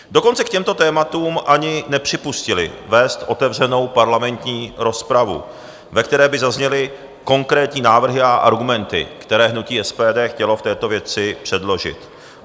Dokonce k těmto tématům ani nepřipustili vést otevřenou parlamentní rozpravu, ve které by zazněly konkrétní návrhy a argumenty, které hnutí SPD chtělo v této věci předložit.